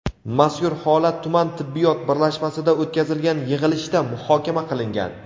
mazkur holat tuman tibbiyot birlashmasida o‘tkazilgan yig‘ilishda muhokama qilingan.